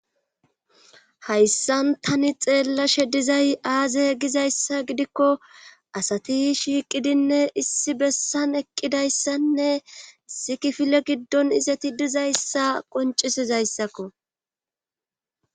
hayssan tani xeellashe dizay aaze gizayssa gidikko asati shiiqidinne issi bessan eqqidayssanne issi kiifile giddon izeti dizayssa qoncisizayssakko.